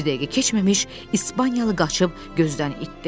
Bir dəqiqə keçməmiş ispaniyalı qaçıb gözdən itdi.